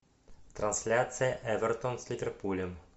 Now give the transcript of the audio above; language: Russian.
трансляция эвертон с ливерпулем